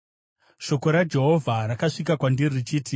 Shoko raJehovha rakasvika kwandiri richiti,